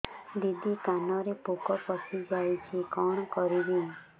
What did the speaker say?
ଦିଦି କାନରେ ପୋକ ପଶିଯାଇଛି କଣ କରିଵି